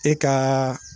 E ka